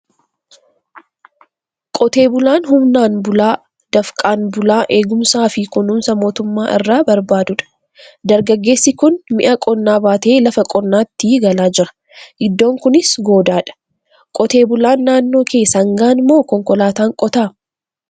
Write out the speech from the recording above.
Qotee bulaan humnaan bulaa, dafqaan bulaa eegumsaa fi kunuunsa mootummaa irraa barbaadudha. Dargaggeessi kun mi'a qonnaa baatee lafa qonnaatii galaa jira. Iddoon kunis goodaa dha. Qotee bulaan naannoo kee sangaan moo konkolaataan qota?